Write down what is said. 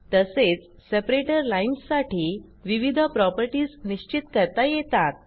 तसेच separator lines साठी विविध प्रॉपर्टीज निश्चित करता येतात